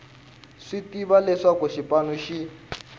swi tiva leswaku xipano xi